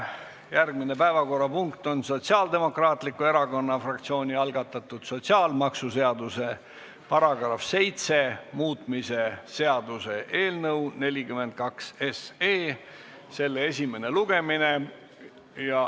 Järgmine päevakorrapunkt on Sotsiaaldemokraatliku Erakonna fraktsiooni algatatud sotsiaalmaksuseaduse § 7 muutmise seaduse eelnõu 42 esimene lugemine.